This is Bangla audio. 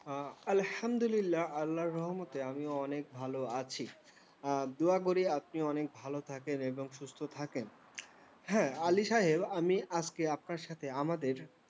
আলহামদুলিল্লাহ্‌, আল্লাহের রহমতে আমিও অনেক ভালো আছি। দোয়া করি আপনি অনেক ভালো থাকেন এবং সুস্থ থাকেন। হ্যাঁ, আলি সাহেব, আমি আজকে আপনার সাথে আমাদের